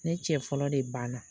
Ne cɛ fɔlɔ de ban na.